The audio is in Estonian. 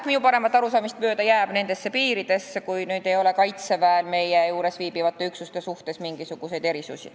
Minu paremat arusaamist mööda jääb see nendesse piiridesse, kui Kaitseväel ei ole meie juures viibivate üksuste suhtes mingisuguseid erisusi.